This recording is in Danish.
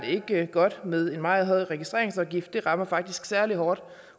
ikke godt med en meget høj registreringsafgift den rammer faktisk særlig hårdt